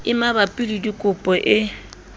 e mabapi le dikopo e